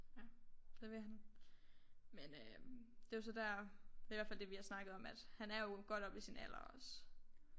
Ja det vil han men øh det er jo så der det er i hvert fald det vi har snakket om at han er jo godt oppe i sin alder også